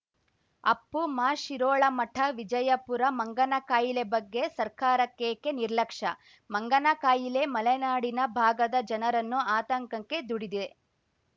ಅಪ್ಪುಮಶಿರೋಳಮಠ ವಿಜಯಪುರ ಮಂಗನ ಕಾಯಿಲೆ ಬಗ್ಗೆ ಸರ್ಕಾರಕ್ಕೇಕೆ ನಿರ್ಲಕ್ಷ್ಯ ಮಂಗನ ಕಾಯಿಲೆ ಮಲೆನಾಡಿನ ಭಾಗದ ಜನರನ್ನು ಆತಂಕಂಕ್ಕೆ ದುಡಿದೆ